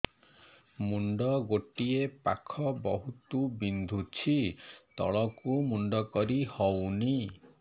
ମୁଣ୍ଡ ଗୋଟିଏ ପାଖ ବହୁତୁ ବିନ୍ଧୁଛି ତଳକୁ ମୁଣ୍ଡ କରି ହଉନି